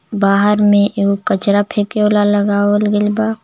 बाहर में एगो कचरा फेंके वाला लगावल गइल बा.